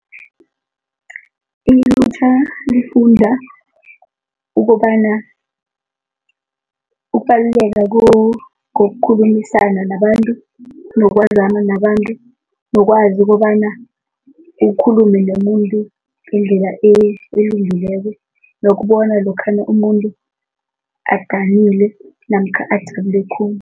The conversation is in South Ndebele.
Ilutjha lifunda ukobana ukubaluleka kokukhulumisana nabantu, nokwazana nabantu, nokwazi kobana ukhulume nomuntu ngendlela elungileko, nokubona lokhana umuntu adanile namkha athabe khulu.